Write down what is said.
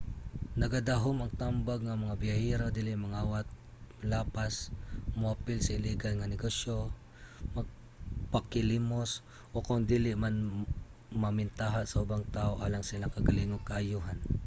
nagadahom ang tambag nga ang mga biyahero dili mangawat molapas moapil sa iligal nga negosyo magpakilimos o kon dili man mamentaha sa ubang tawo alang sa ilang kaugalingong kaayohan